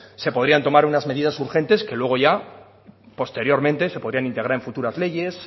se podrían tomar unas medidas urgentes que luego ya posteriormente se podrían integrar en futuras leyes